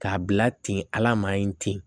K'a bila ten ala man ɲi ten